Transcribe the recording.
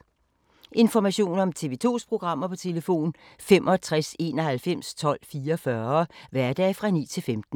Information om TV 2's programmer: 65 91 12 44, hverdage 9-15.